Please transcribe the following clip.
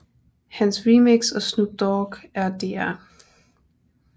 Hans remix af Snoop Dogg og Dr